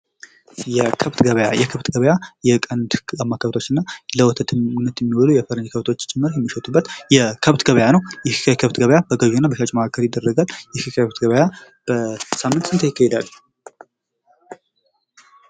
የከብት ገበያ የከብት ገበያ የቀንድ ጋማ ከብቶችና ለወተትነት የሚውሉ የፈረንጅ ከብቶች ጭምር የሚሸጡበት የከብት ገበያ ነው። ይህ የከብት ገበያ በገዢና በሻጭ መካከል ይደረጋል ይህ የከብት ገበያ በሳምንት ስንቴ ይደረጋል?